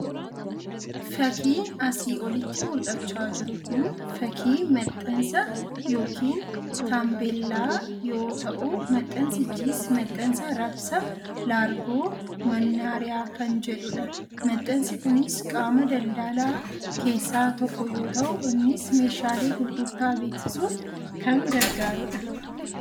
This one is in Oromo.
Fakiin asii olitti mul'achaa jiru kun fakii maxxanssaa yookiin tambeellaa yoo ta'u, maxxansichis maxxansa Raabsa largoo mannaariyaa. kan jedhudha. maxxansi kunis qaama daldaalaa keessaa tokko yoo ta'u innis meeshaalee gurgurtaa beeksisuuf kan gargaarudha.